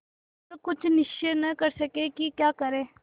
पर कुछ निश्चय न कर सके कि क्या करें